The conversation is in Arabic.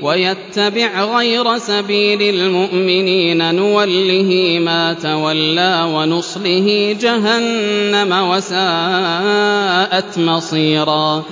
وَيَتَّبِعْ غَيْرَ سَبِيلِ الْمُؤْمِنِينَ نُوَلِّهِ مَا تَوَلَّىٰ وَنُصْلِهِ جَهَنَّمَ ۖ وَسَاءَتْ مَصِيرًا